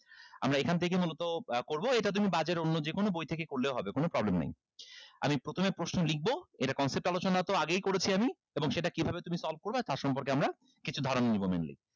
আমরা এখান থেকে মূলত করবো এটা তুমি বাজারের অন্য যেকোনো বই থেকে করলেও হবে কোনো problem নাই আমি প্রথমে প্রশ্ন লিখবো এটার concept আলোচনা তো আগেই করেছি আমি এবং সেটা কিভাবে তুমি solve করবা তার সম্পর্কে আমরা কিছু ধারণা নিবো mainly